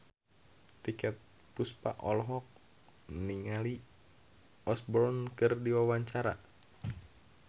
Titiek Puspa olohok ningali Kelly Osbourne keur diwawancara